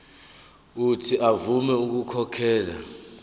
uuthi avume ukukhokhela